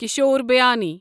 کِشور بیانی